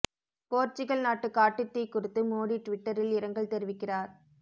Portugal நாட்டு காட்டுத் தீ குறித்து மோடி ட்விட்டரில் இரங்கல் தெரிவிக்கிறார்